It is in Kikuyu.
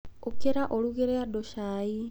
Ũkĩra ũrugĩre andũ cai.